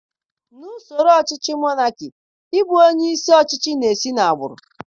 Na usoro ọchịchị nke monakị, ị bụ onye isi ọchịchị na-esi na agbụrụ.